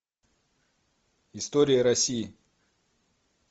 история россии